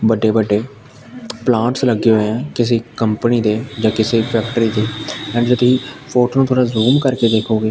ਵੱਡੇ ਵੱਡੇ ਪਲਾਂਟਸ ਲੱਗੇ ਹੋਏ ਆ ਕਿਸੇ ਕੰਪਨੀ ਦੇ ਜਾਂ ਕਿਸੇ ਫੈਕਟਰੀ ਦੇ ਐਡ ਜਦੀ ਫੋਟੋ ਨੂੰ ਥੋੜਾ ਜ਼ੂਮ ਕਰਕੇ ਦੇਖੋਗੇ --